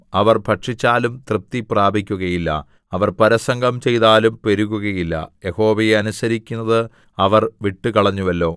അവർ ഭക്ഷിച്ചാലും തൃപ്തി പ്രാപിക്കുകയില്ല അവർ പരസംഗം ചെയ്താലും പെരുകുകയില്ല യഹോവയെ അനുസരിക്കുന്നത് അവർ വിട്ടുകളഞ്ഞുവല്ലോ